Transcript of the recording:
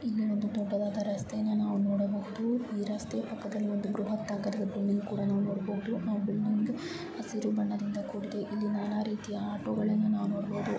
ಇಲ್ಲಿ ಒಂದು ದೊಡ್ಡದಾದಾ ರಸ್ತೆಯನ್ನು ನಾವು ನೋಡಬಹುದು ಈ ರಸ್ತೆಯ ಪಕ್ಕದಲ್ಲಿ ಒಂದು ಬೃಹತ್ ಆದ ಒಂದು ಬಿಲ್ಡಿಂಗ್ ಕೂಡ ನೋಡಬಹುದು. ಆ ಬಿಲ್ಡಿಂಗ್ ಹಸಿರು ಬಣ್ಣದಿಂದ ಕೂಡಿದೆ. ಇಲ್ಲಿ ನಾನಾ ರೀತಿಯ ಆಟೋಗಳನ್ನ ನಾವು ನೋಡಬಹುದು.